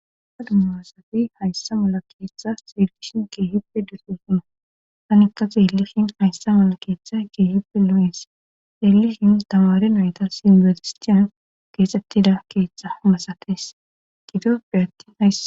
Dumma dumma asati hayssa mala keeththa sergishin keehipe dirsosuna tanikka xeelihin hayssa mala keeththa keehipe lo7ens yelihin damare nayta sidezistiyan keexettida keeththa masates gidofe atin haysa